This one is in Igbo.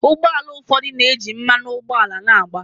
Ụgbọ ala ụfọdụ na-eji mmanụ ụgbọala na-agba.